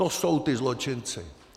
To jsou ti zločinci.